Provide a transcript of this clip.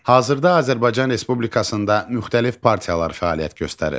Hazırda Azərbaycan Respublikasında müxtəlif partiyalar fəaliyyət göstərir.